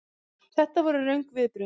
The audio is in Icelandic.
Þetta voru röng viðbrögð.